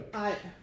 Ej